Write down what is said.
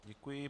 Děkuji.